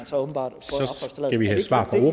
så åbenbart